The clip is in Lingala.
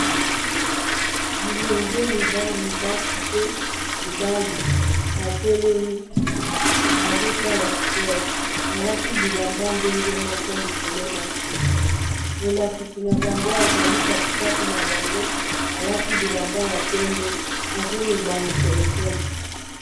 bilenge mibali basi pe mibali batelemi bazosala spore balati bilamba ndenge moko likolo na se molakisi na bango azali katikati na bango alati bilamba ya pembe azoloba na telefone